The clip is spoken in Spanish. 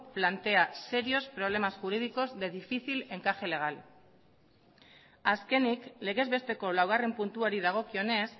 plantea serios problemas jurídicos de difícil encaje legal azkenik legezbesteko laugarren puntuari dagokionez